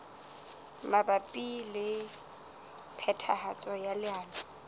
mabapi le phethahatso ya leano